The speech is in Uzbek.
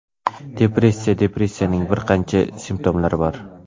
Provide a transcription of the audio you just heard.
Depressiya Depressiyaning bir qancha simptomlari bor.